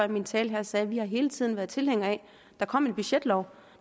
i min tale her sagde at vi hele tiden har været tilhængere af at der kom en budgetlov